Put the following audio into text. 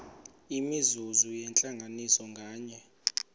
imizuzu yentlanganiso nganye